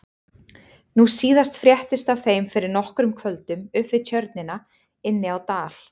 Nú síðast fréttist af þeim fyrir nokkrum kvöldum upp við Tjörnina inni á Dal.